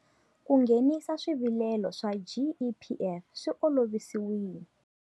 Ku nghenisa swivilelo swa GEPF swi olovisiwile.